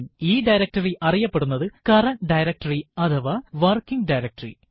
ഈ ഡയറക്ടറി അറിയപ്പെടുന്നത് current directory അഥവാ വർക്കിങ് ഡയറക്ടറി